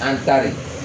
An tare